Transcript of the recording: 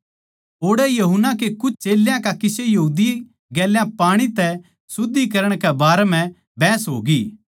ओड़ै यूहन्ना के कुछ चेल्यां का किसे यहूदी गेल्या पाणी तै शुद्धिकरण कै बारै म्ह बहस होगी